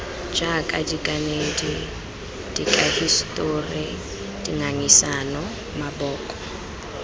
jaaka dikanedi dikahisetori dingangisano maboko